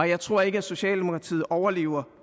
jeg tror ikke at socialdemokratiet overlever